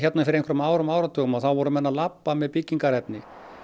fyrir einhverjum árum og áratugum voru menn að labba með byggingarefni